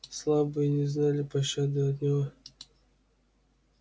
слабые не знали пощады от него